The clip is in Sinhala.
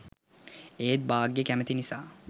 ඒත් භාග්‍යා කැමති නිසා